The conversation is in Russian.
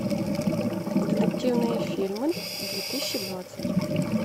детективные фильмы две тысячи двадцать